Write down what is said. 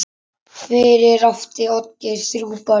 Fyrir átti Oddgeir þrjú börn.